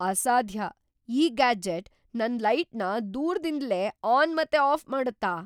ಅಸಾದ್ಯ! ಈ ಗ್ಯಾಜೆಟ್ ನನ್ ಲೈಟ್ನ ದೂರ್ದಿಂದಲೇ ಆನ್ ಮತ್ ಆಫ್ ಮಾಡುತ್ತ?